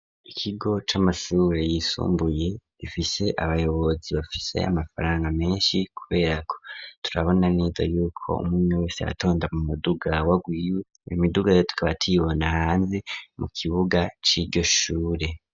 Ikigo c'amasure yisumbuye, gifise abayobozi bafise amafaranga menshi kubera ko turabona neza yuko umwe wese atonda mu muduga wagwiwe, imidugare tukaba tuyibona hanze mu kibuga c'iryo shure.